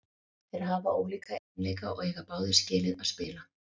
Þeir hafa ólíka eiginleika og eiga báðir skilið að spila.